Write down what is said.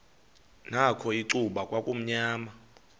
nakho icuba kwakumnyama